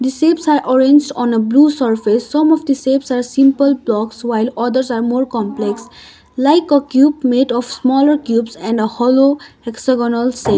the shapes are orranged on a blue surface some of the shapes are simple blocks while others are more complex like a cube made of smaller cubes and a hollow hexagonal shape.